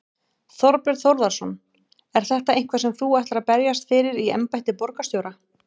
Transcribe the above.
Þorbjörn Þórðarson: Er þetta eitthvað sem þú ætlar að berjast fyrir í embætti borgarstjóra?